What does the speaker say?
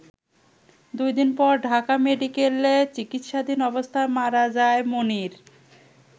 দুই দিন পর ঢাকা মেডিকেলে চিকিৎসাধীন অবস্থায় মারা যায় মনির।